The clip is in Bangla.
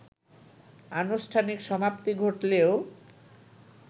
আনুষ্ঠানিক সমাপ্তি ঘটলেও